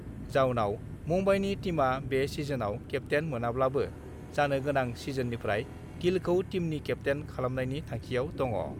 जाउनाव मुम्बाइनि टीमआ बे सिजनआव केप्तेन मोनाब्लाबो जानो गोनां सिजननिफ्राय गिलखौ टीमनि केप्तेन खालामनायनि थांखिआव दङ।